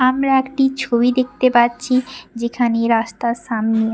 আমরা একটি ছবি দেখতে পাচ্ছি যেখানে রাস্তার সামনে এক--